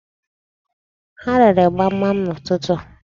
Ha rere gbamgbam n'ụtụtụ.